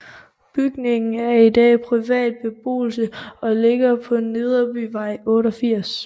Bygningen er i dag privat beboelse og ligger på Nederbyvej 88